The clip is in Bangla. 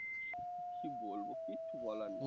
কি বলবো কিচ্ছু বলার নেই